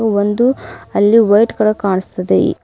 ಒಂದು ಅಲ್ಲಿ white colour ಕಾಣುಸ್ತಿದೆ ಇ--